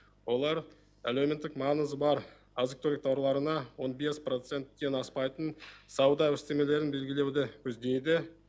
олар әлеуметтік маңызы бар азық түлік тауарларына он бес проценттен аспайтын сауда үстемелерін белгілеуді көздейді